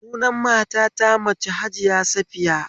Sunan kakata ta mace Hajiya Safiya